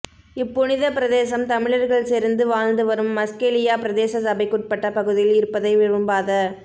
இப்புனித பிரதேசம் தமிழர்கள் செறிந்து வாழ்ந்து வரும் மஸ்கெலியா பிரதேச சபைக்குட்பட்ட பகுதியில் இருப்பதை விரும்பாத